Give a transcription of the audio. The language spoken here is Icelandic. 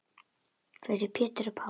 Fyrir Pétur og Pál.